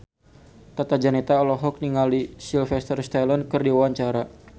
Tata Janeta olohok ningali Sylvester Stallone keur diwawancara